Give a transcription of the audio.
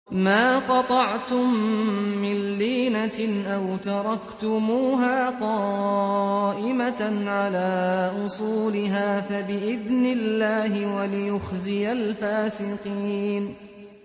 مَا قَطَعْتُم مِّن لِّينَةٍ أَوْ تَرَكْتُمُوهَا قَائِمَةً عَلَىٰ أُصُولِهَا فَبِإِذْنِ اللَّهِ وَلِيُخْزِيَ الْفَاسِقِينَ